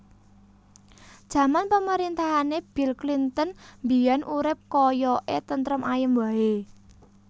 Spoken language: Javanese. Jaman pemerintahane Bill Clinton biyen urip koyok e tentrem ayem wae